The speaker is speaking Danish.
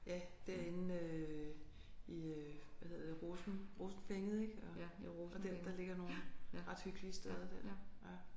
Ja derinde øh i øh hvad hedder det rosen Rosenvænget ik og der der ligger nogle ret hyggelige steder der ja